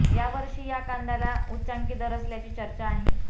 यावर्षी हा कांद्याला उच्चांकी दर असल्याची चर्चा आहे